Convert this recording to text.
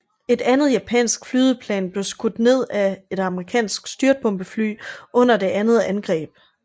Et andet japansk flydeplan blev skudt ned af et amerikansk styrtbombefly under det andet angreb